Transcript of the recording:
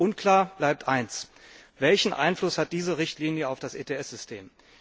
Unklar bleibt eines Welchen Einfluss hat diese Richtlinie auf das ETS System?